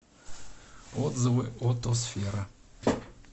отзывы отосфера